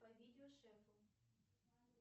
по видео шефу